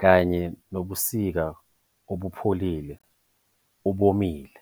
kanye nobusika obupholile, obomile.